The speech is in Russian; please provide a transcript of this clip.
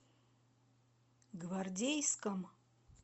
гвардейском